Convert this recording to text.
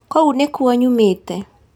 Kũu nĩ kuo nyũmĩte